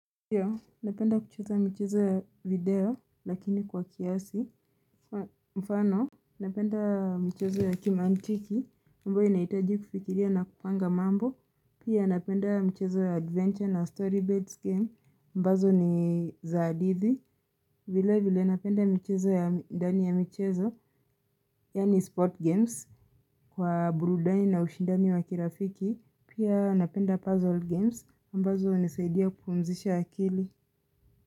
Ndiyo napenda kucheza michezo ya video lakini kwa kiasi mfano Napenda mchezo ya kimantiki ambayo inahitaji kufikiria na kupanga mambo Pia napenda michezo ya adventure na story beds game ambazo ni za hadithi vile vile napenda michezo ya ndani ya michezo yaani sport games kwa burudani na ushindani wa kirafiki Pia napenda puzzle games ambazo hunisaidia kupumzisha akili.